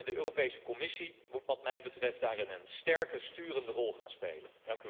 De Europese Commissie moet wat mij betreft daarin een sterker sturende rol gaan spelen.